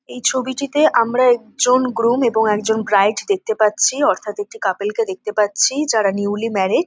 এই ছবিটিতে আমরা একজন গ্রুম এবং একজন ব্রাইড দেখতে পাচ্ছি-ই অর্থাৎ একটি কাপেল -কে দেখতে পাচ্ছি-ই যারা নিউলি ম্যারেড ।